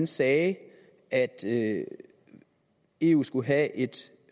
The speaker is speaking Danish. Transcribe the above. sagde at at eu skulle have et